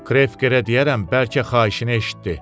Krekə deyərəm, bəlkə xahişini eşitdi.